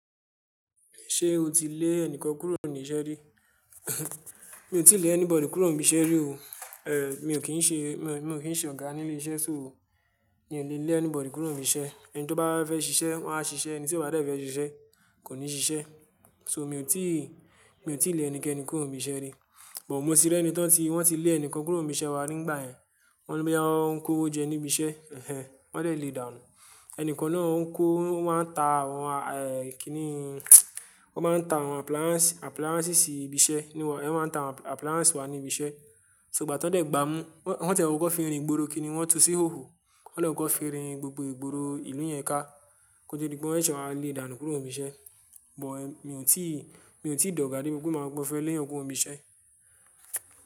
Ṣé o ti lé ẹnìkan kúrò ní iṣẹ́ rí? Mi ò tíì lé anybody kúrò níbi iṣẹ́ rí o. Eh mi ò kí ń ṣe, mi ò kí ń ṣe ọ̀gá nílé iṣẹ́ so. Mi ò lè lé anybody kúrò níbi iṣẹ́. Ẹni tí ó bá fẹ́ ṣiṣẹ́, wọ́n á ṣiṣẹ́, ẹni tí wọ́n bá dẹ̀ fẹ́ ṣiṣẹ́ kò ní ṣiṣẹ́. So mi ò tí, mi ò tí lè ẹnikẹ́ni kúrò níbi iṣẹ́ rí. But mo ti rí ẹni tí wọ́n ti, wọ́n ti lé ẹnìkan kúrò níbi iṣẹ́ wa nígbà yẹn. Wọ́n ní boyà wọn kòwò jẹ níbi iṣẹ́, ehn, wọ́n dẹ̀ lé ìdànù. Ẹnìkan náà ń kó, wọ́n máa ń ta àwọn eh kini wọ́n máa ń ta àwọn appliances, appliances sí ibi iṣẹ́, wọ́n máa ń ta àwọn appliances wá ní ibi iṣẹ́. Ṣó igbà tí wọ́n dẹ̀ gbámú, wọ́n tiẹ̀ wọ́ kó fi rin ìgboro kini, wọ́n tú sí òhòò, wọ́n dẹ̀ kó fi rin gbogbo ìgboro ìlú yẹn ká. Kọ́tó di pé wọ́n sé wáa lé dànù kúrò níbi iṣẹ́. But mi ò tí, mi ò tíì dọ̀gà dé pé mó máa sọ́pẹ́ mó fé le ẹnìkan kúrò níbi iṣẹ́.